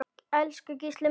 Elsku Gísli minn.